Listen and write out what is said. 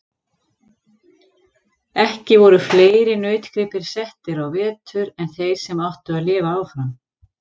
Ekki voru fleiri nautgripir settir á vetur en þeir sem áttu að lifa áfram.